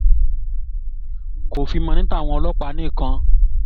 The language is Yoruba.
kò fi mọ́ ní tàwọn ọlọ́pàá nìkan